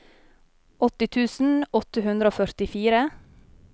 åtti tusen åtte hundre og førtifire